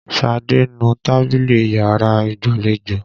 Ṣadé ń nu tábìlì yàrá ìgbàlejò.